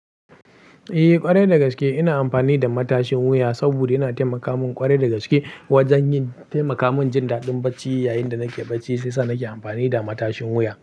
Eh ƙwarai dagaske ina amfani da matashin wuya saboda yana taimaka min ƙwarai dagaske wajen yin-- taimaka min jin daɗin bacci yayinda nake bacci shiyasa nake amfani da matashin wuya.